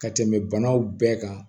Ka tɛmɛ banaw bɛɛ kan